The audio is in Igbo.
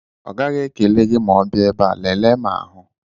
Ọ gaghị ekele gị ma ọ bịa ebe a, lelee ma hụ